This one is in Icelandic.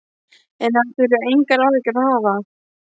En hann þurfi engar áhyggjur að hafa.